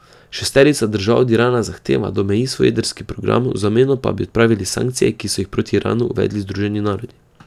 Šesterica držav od Irana zahteva, da omeji svoj jedrski program, v zameno pa bi odpravili sankcije, ki so jih proti Iranu uvedli Združeni narodi.